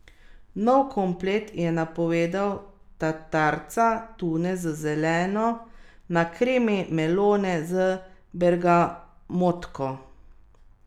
Nov komplet je napovedal tatarca tune z zeleno na kremi melone z bergamotko.